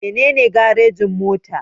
Mene ne garejin-mota?